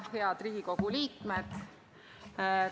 Head Riigikogu liikmed!